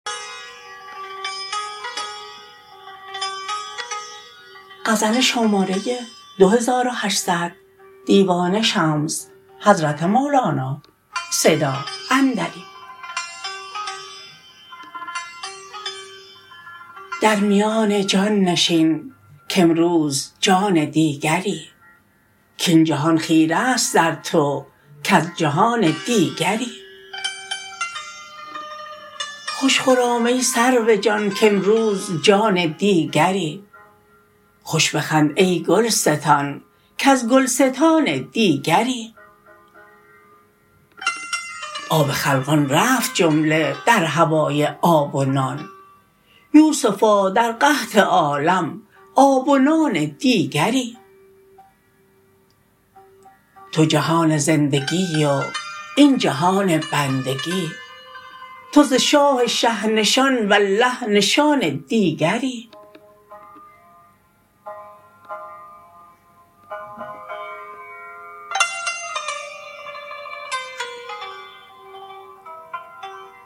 در میان جان نشین کامروز جان دیگری کاین جهان خیره است در تو کز جهان دیگری خوش خرام ای سرو جان کامروز جان دیگری خوش بخند ای گلستان کز گلستان دیگری آب خلقان رفت جمله در هوای آب و نان یوسفا در قحط عالم آب و نان دیگری تو جهان زندگی و این جهان بندگی تو ز شاه شه نشان والله نشان دیگری